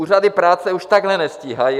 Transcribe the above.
Úřady práce už takhle nestíhají.